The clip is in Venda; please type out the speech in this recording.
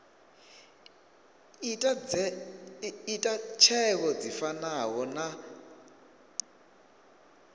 ita tsheo dzi fanaho na